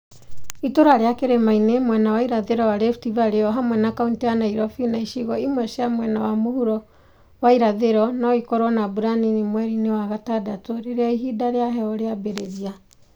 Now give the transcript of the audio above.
Itũũra rĩa kĩrĩmainĩ mwena wa irathĩro wa Rift Valley o hamwe na kauntĩ ya Nairobi na icigo imwe cia mwena wa mũhuro wa irathĩro no ikorũo na mbura nini mweri-inĩ wa gatandatũ rĩrĩa ihinda rĩa heho rĩambĩrĩria.